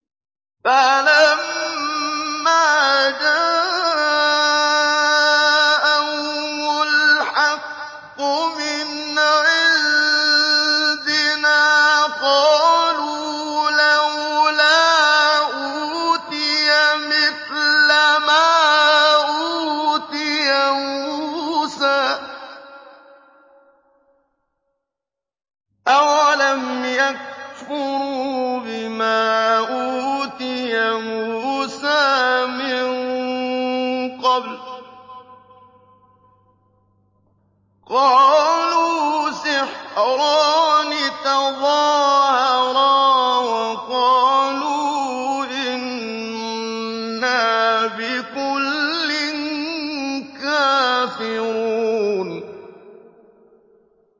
فَلَمَّا جَاءَهُمُ الْحَقُّ مِنْ عِندِنَا قَالُوا لَوْلَا أُوتِيَ مِثْلَ مَا أُوتِيَ مُوسَىٰ ۚ أَوَلَمْ يَكْفُرُوا بِمَا أُوتِيَ مُوسَىٰ مِن قَبْلُ ۖ قَالُوا سِحْرَانِ تَظَاهَرَا وَقَالُوا إِنَّا بِكُلٍّ كَافِرُونَ